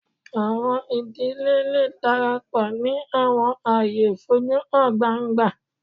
Awọn idile le darapọ ni awọn aaye foju han gbangba